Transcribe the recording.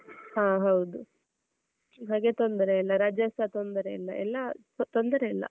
ಹಾ ಹೌದು ಈ ಬಗ್ಗೆ ತೊಂದ್ರೆ ಇಲ್ಲ ರಜೆ ಸ ತೊಂದ್ರೆ ಇಲ್ಲ ಎಲ್ಲಾ ತೊಂದರೆ ಇಲ್ಲ.